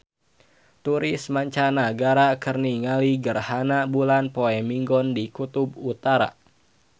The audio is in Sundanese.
Turis mancanagara keur ningali gerhana bulan poe Minggon di Kutub Utara